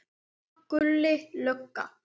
Pabbi og mamma, Gulli lögga.